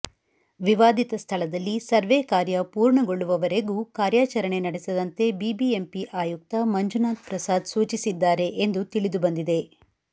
ವಿವಾದಿತ ಸ್ಥಳದಲ್ಲಿ ಸರ್ವೇ ಕಾರ್ಯ ಪೂರ್ಣಗಳ್ಳುವವರೆಗೂ ಕಾರ್ಯಾಚರಣೆ ನಡೆಸದಂತೆ ಬಿಬಿಎಂಪಿ ಆಯುಕ್ತ ಮಂಜುನಾಥ್ ಪ್ರಸಾದ್ ಸೂಚಿಸಿದ್ದಾರೆ ಎಂದು ತಿಳಿದುಬಂದಿದೆ